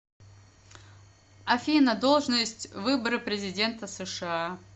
афина должность выборы президента сша